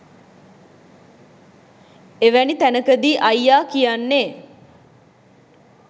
එවැනි තැනකදී අයියා කියන්නේ